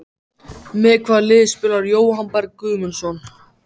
Með hvaða liði spilar Jóhann Berg Guðmundsson?